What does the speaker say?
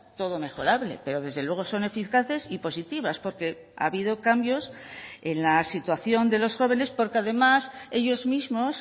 todo mejorable pero desde luego son eficaces y positivas porque ha habido cambios en la situación de los jóvenes porque además ellos mismos